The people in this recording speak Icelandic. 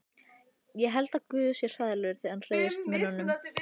Ég held að guð sé hræðilegur þegar hann reiðist mönnunum.